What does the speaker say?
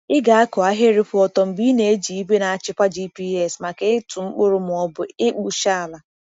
Ị ga-akụ ahịrị kwụ ọtọ mgbe ị na-eji igwe na-achịkwa GPS maka ịtụ mkpụrụ ma ọ bụ ịkpụcha ala um.